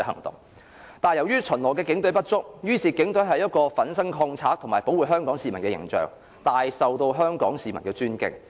但由於巡邏的警員不足，於是為警隊塑造出一個奮身抗賊及保護香港市民的形象，大受香港市民的尊敬。